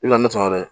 I bɛna ne sɔrɔ dɛ